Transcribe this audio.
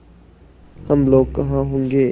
हम लोग कहाँ होंगे